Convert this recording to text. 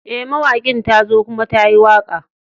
Eh, mawakin ta zo kuma ta yi waka.